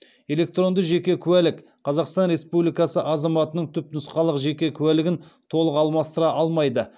электронды жеке куәлік қазақстан республикасы азаматының түпнұсқалық жеке куәлігін толық алмастыра алмайды